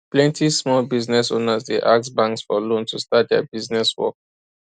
plenty small business owners dey ask banks for loan to start their business work